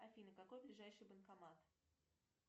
афина какой ближайший банкомат